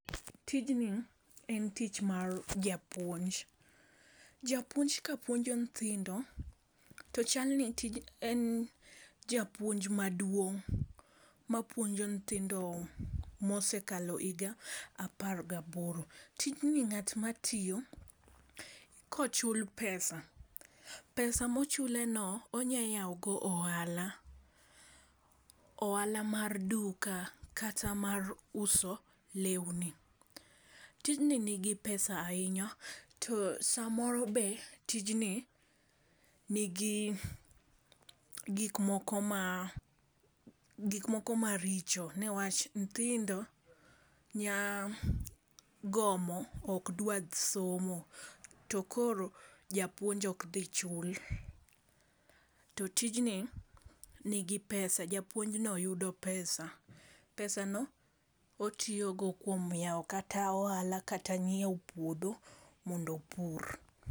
Tijni en tich mar japuonj. Japuonj kapuonjo nyithindo to chal ni tije en japuonj maduong' ma puonjo nyithindo mosekalo higa apar gaboro . Tijni ng'at matiyo kochul pesa pesa mochuleno on ya yawo go ohala, ohala mar duka kata mar uso lewni . Tijni nigi pesa ahinya to samoro be tijni nigi gik moko ma gik moko maricho newach nyithindo nya gomo ok dwa somo to koro japuonj ok dhi chul . To tijni nigi pesa japuonj no yudo pesa pesa no otiyo go kuom yawo kata ohala kata ng'iewo puodho mondo opur.